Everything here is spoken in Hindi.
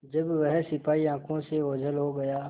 जब वह सिपाही आँखों से ओझल हो गया